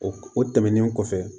O o tɛmɛnen kɔfɛ